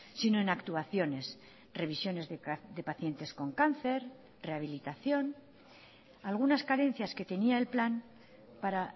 sino en actuaciones revisiones de pacientes con cáncer rehabilitación algunas carencias que tenía el plan para